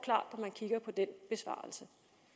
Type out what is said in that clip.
når man kigger på den besvarelse